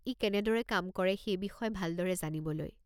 ই কেনেদৰে কাম কৰে সেই বিষয়ে ভালদৰে জানিবলৈ।